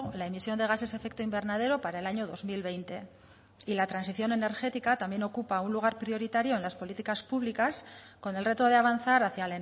la emisión de gases efecto invernadero para el año dos mil veinte y la transición energética también ocupa un lugar prioritario en las políticas públicas con el reto de avanzar hacia